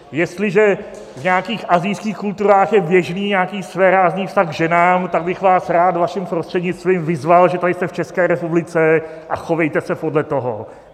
Jestliže v nějakých asijských kulturách je běžný nějaký svérázný vztah k ženám, tak bych vás rád vaším prostřednictvím vyzval, že tady jste v České republice a chovejte se podle toho.